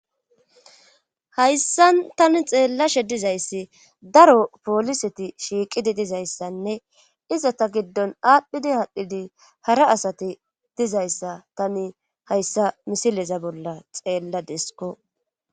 hayssan tani xeellashe dizayssi daro pooliseti shiiqidi dizayssanne iza ta giddon aadhdhidi haadhdhidi hara asati dizayssa tani hayssa misileza bolla xeella desko